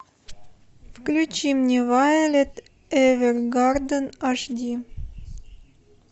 включи мне вайолет эвергарден аш ди